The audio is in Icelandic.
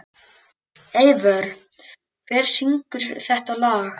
Eivör, hver syngur þetta lag?